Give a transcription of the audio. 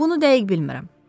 Bunu dəqiq bilmirəm.